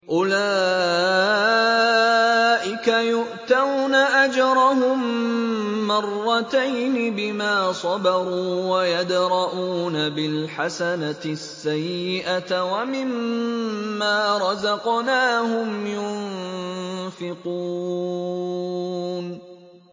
أُولَٰئِكَ يُؤْتَوْنَ أَجْرَهُم مَّرَّتَيْنِ بِمَا صَبَرُوا وَيَدْرَءُونَ بِالْحَسَنَةِ السَّيِّئَةَ وَمِمَّا رَزَقْنَاهُمْ يُنفِقُونَ